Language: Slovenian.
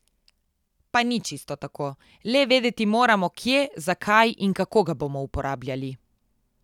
Pa ni čisto tako, le vedeti moramo, kje, za kaj in kako ga bomo uporabljali.